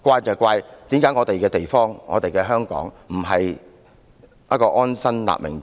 要怪責的是，為何我們的香港不是一個可讓人安身立命之地。